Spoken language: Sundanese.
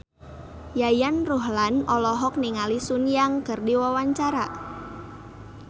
Yayan Ruhlan olohok ningali Sun Yang keur diwawancara